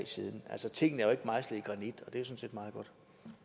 siden altså tingene er jo ikke mejslet i granit og det er sådan set meget godt